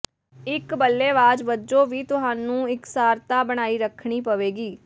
ਇੱਕ ਬੱਲੇਬਾਜ਼ ਵਜੋਂ ਵੀ ਤੁਹਾਨੂੰ ਇਕਸਾਰਤਾ ਬਣਾਈ ਰੱਖਣੀ ਪਵੇਗੀ